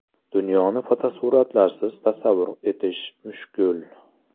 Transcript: Dunyoni fotosuratlarsiz tasavvur etish mushkul.